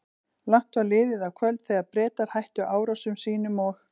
Langt var liðið á kvöld, þegar Bretar hættu árásum sínum og